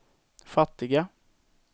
fattiga